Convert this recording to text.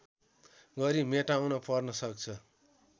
गरी मेटाउन पर्न सक्छ